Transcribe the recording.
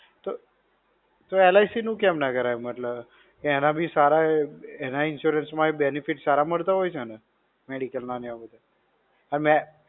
તો, તો LIC નું કેમ ના કરાવ્યું મતલબ, એના બી સારા એના insurance માંય benefit સારા મળતા હોય છે ને, Medical ના ને એવા બધાં અને.